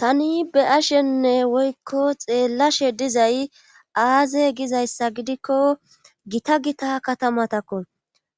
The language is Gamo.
tani be7ashenne woykko xeellashe dizay aaze gizayssa gidikko gita gita katamatakko